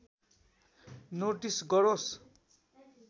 notice गरोस्